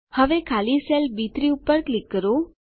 હવે ખાલી સેલ બી3 પર ક્લિક કરો